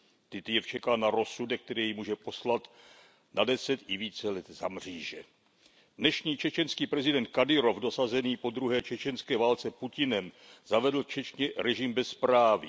Titjev čeká na rozsudek, který jej může poslat na deset i více let za mříže. Dnešní čečenský prezident Kadyrov, dosazený po druhé čečenské válce Putinem, zavedl v Čečně režim bezpráví.